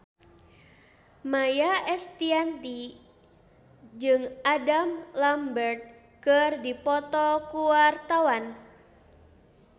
Maia Estianty jeung Adam Lambert keur dipoto ku wartawan